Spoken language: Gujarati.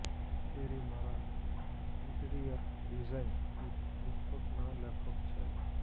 કેરી મારા ઇન્ટીરીયર ડિઝાઇન કિટ પુસ્તકના લેખક છે